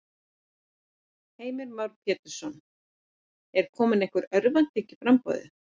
Heimir Már Pétursson: Er komin einhver örvænting í í framboðið?